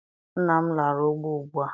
nna m lara ugbo ugbua.